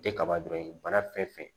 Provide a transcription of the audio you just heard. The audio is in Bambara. Tɛ kaba dɔrɔn ye bana fɛn fɛn